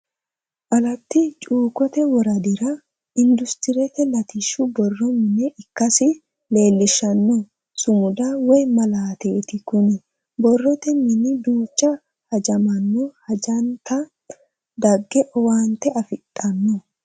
Alati cuukote woradirra industirete lattishu boro mine ikkasi leellishanno sumuda woyi malaatetti, kuni borrote mine duucha hajamanno hajante dage owaante afidhano